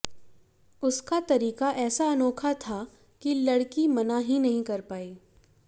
उसका तरीका ऐसा अनोखा था कि लड़की मना ही नहीं कर पाई